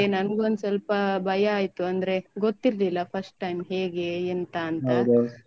ನಂಗೊಂದ್ ಸ್ವಲ್ಪ ಭಯ ಆಯ್ತು ಅಂದ್ರೆ ಗೊತ್ತಿರ್ಲಿಲ್ಲ first time ಹೇಗೆ ಎಂತ ಅಂತ.